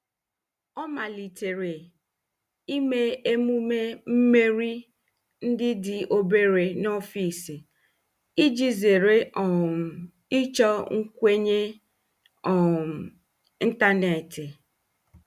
Ọ malitere ime emume mmeri ndị dị obere n'ọfịs iji zere um ịchọ nkwenye um ntanetị.